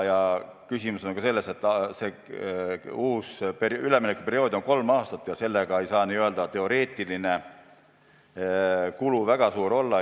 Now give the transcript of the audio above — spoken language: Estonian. Asi on ka selles, et see uus üleminekuperiood on kolm aastat ja sellega ei saa n-ö teoreetiline kulu väga suur olla.